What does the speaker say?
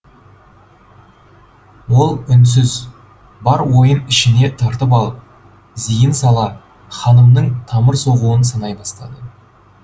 ол үнсіз бар ойын ішіне тартып алып зейін сала ханымның тамыр соғуын санай бастады